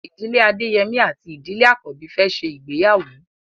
Ìdílé Adeyemi àti Ìdílé Akanbi fè ṣe ìgbéyàwó.